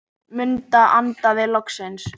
Munda andaði loksins.